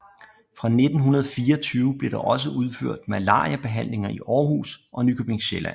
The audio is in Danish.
Fra 1924 blev der også udført malariabehandlinger i Århus og Nykøbing Sjælland